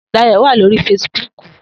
Dayo wá lóri fésìbùk